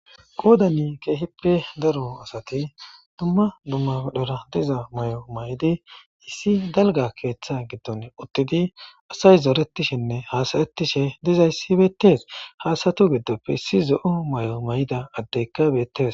qoodani keehippe daro asati dumma dummadora diza may7o may7di issi dalga keeththa giddon uttidi asay zooretishinne haasayettishe dizayssi beettees haasatu giddoppe si zo7o may7o may7ida addeyka beettees